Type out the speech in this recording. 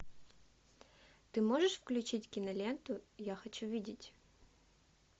ты можешь включить киноленту я хочу видеть